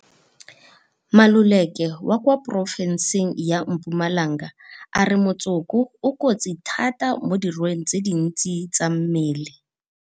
Maluleke wa kwa porofenseng ya Mpumalanga a re motsoko o kotsi thata mo dirweng tse dintsi tsa mmele.